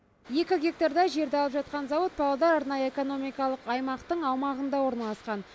екі гектардай жерді алып атқан зауыт павлодар арнайы экономикалық аймақтың аумағында орналасқан